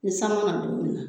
Ni san mana don minna